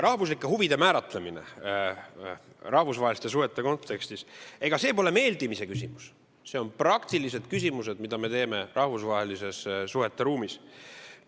Rahvuslike huvide määratlemine rahvusvaheliste suhete kontekstis – ega see pole meeldimise küsimus, need on praktilised otsused, mida me teeme rahvusvaheliste suhete ruumis.